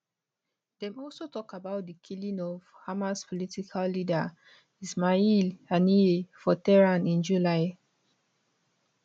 dem also tok about di killing of hamas political leader ismail haniyeh for tehran in july